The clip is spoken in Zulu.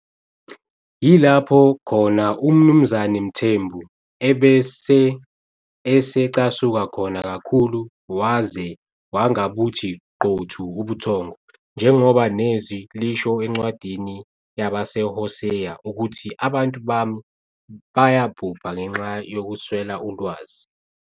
Yilapho khona uMnumzane Mthembu ebese esecasuka khona kakhulu waze wangabuthi qothu ubuthongo. Njengoba neZwi lisho encwadini yabaseHoseya ukuthi abantu bami bayabhubha ngenxa yokuswela ulwazi.